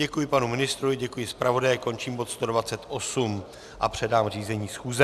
Děkuji panu ministrovi, děkuji zpravodaji, končím bod 128 a předám řízení schůze.